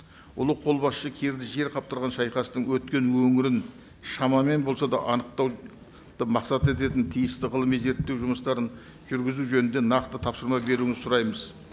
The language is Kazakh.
ұлы қолбасшы кирді жер қаптырған шайқастың өткен өңірін шамамен болса да анықтауды мақсат ететін тиісті ғылыми зерттеу жұмыстарын жүргізу жөнінде нақты тапсырма беруіңізді сұраймыз